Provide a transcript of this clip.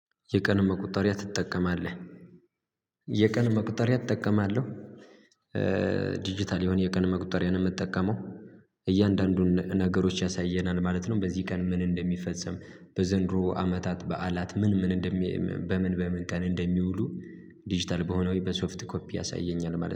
የቀን መቁጠሪያ ትጠቀማለህ? የቀን መቁጠሪያ እጠቀማለሁ። ዲጂታል የሆነ የቀን መቁጠሪያ ነው የምጠቀመው እያንዳንዱን ነገሮች ያሳየናል ማለት ነው። በዚህ ቀን ምን እንደሚፈጸም በዘንድሮ አመታት በዓላት ምን ምን እንደሚ በምን በምን ቀን እንደሚውሉ። ዲጂታል በሆነ ወይ በሶፍት ኮፒ ያሳየኛል ማለት ነው